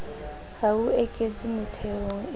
ha ho eketswa metheong e